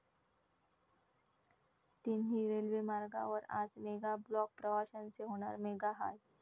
तिन्ही रेल्वे मार्गांवर आज मेगा ब्लॉक, प्रवाशांचे होणार मेगाहाल